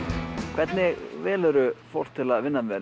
hvernig velurðu fólk til að vinna með